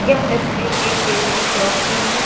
यह तस्वीर एक बेकरी शॉप की है।